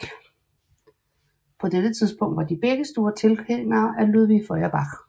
På dette tidspunkt var de begge store tilhængere af Ludwig Feuerbach